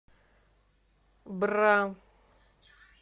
бра